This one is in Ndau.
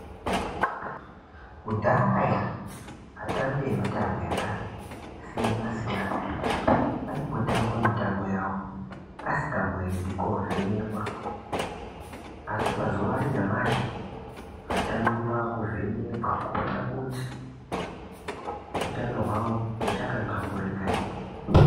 Kudhaya atambi emitambo yakasiyana siyana aingotamba mitambo yawo asikamboendi kovhenekwa asi mazuwa anyamashi atambi akuvhenekwa kuona kuti hutano hwawo huchakanamburika here